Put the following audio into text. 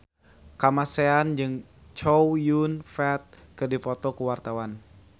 Kamasean jeung Chow Yun Fat keur dipoto ku wartawan